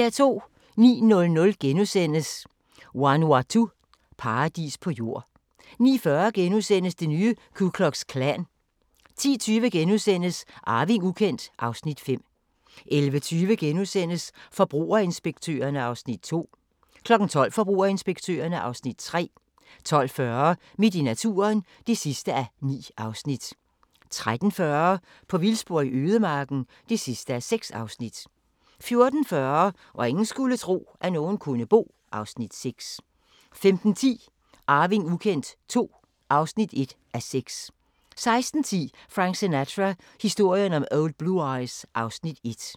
09:00: Vanuatu – paradis på jord * 09:40: Det nye Ku Klux Klan * 10:20: Arving ukendt (Afs. 5)* 11:20: Forbrugerinspektørerne (Afs. 2)* 12:00: Forbrugerinspektørerne (Afs. 3) 12:40: Midt i naturen (9:9) 13:40: På vildspor i ødemarken (6:6) 14:40: Hvor ingen skulle tro, at nogen kunne bo (Afs. 6) 15:10: Arving ukendt II (1:6) 16:10: Frank Sinatra – historien om Old Blue Eyes (Afs. 1)